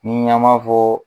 Ni an b'a fɔ